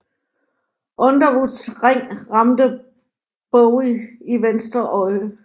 Underwoods ring ramte Bowie i venstre øje